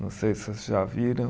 Não sei se vocês já viram.